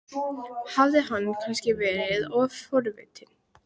Hafði hann kannski verið of forvitin?